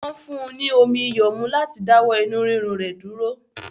Wọn fún ní omi iyọ̀ mu láti dáwọ inú rírun rẹ̀ dúró